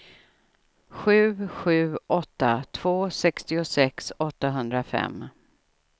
sju sju åtta två sextiosex åttahundrafem